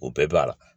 O bɛɛ b'a la